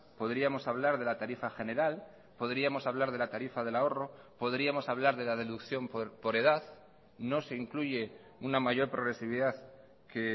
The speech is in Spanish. podríamos hablar de la tarifa general podríamos hablar de la tarifa del ahorro podríamos hablar de la deducción por edad no se incluye una mayor progresividad que